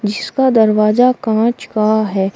जीसका दरवाजा कांच का है।